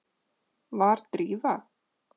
Var Drífa.?